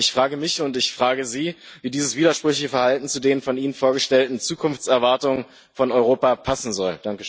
Ich frage mich und ich frage Sie, wie dieses widersprüchliche Verhalten zu den von ihnen vorgestellten Zukunftserwartungen von Europa passen soll.